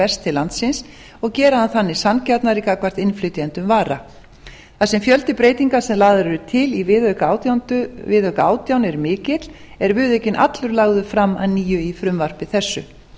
berst til landsins og gera hann þannig sanngjarnari gagnvart innflytjendum vara þar sem fjöldi breytinga sem lagðar eru til í viðauka átján er mikill er viðaukinn allur lagður er að nýju í frumvarpi þessu